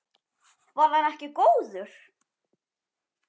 Var hann ekki góður?